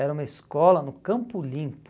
Era uma escola no Campo Limpo.